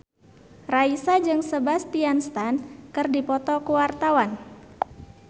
Raisa jeung Sebastian Stan keur dipoto ku wartawan